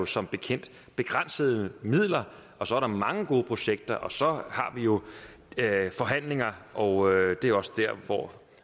som bekendt begrænsede midler og så er der mange gode projekter og så har vi jo forhandlinger og det er også dér hvor